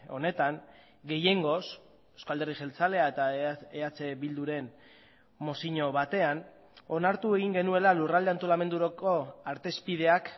honetan gehiengoz eusko alderdi jeltzalea eta eh bilduren mozio batean onartu egin genuela lurralde antolamenduko artezpideak